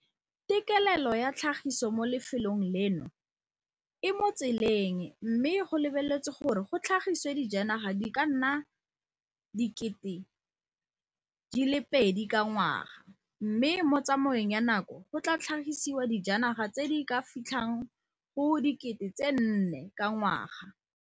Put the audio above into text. Tekelelo ya tlhagiso mo lefelong leno e mo tseleng mme go lebeletswe gore go tlhagisiwe dijanaga di ka nna 2 000 ka ngwaga, mme mo tsamaong ya nako go tla tlhagisiwa dijanaga tse di ka fitlhang go 4 000 ka ngwaga.